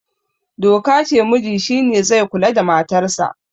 doka ce muji shi ne zai kula da matarsa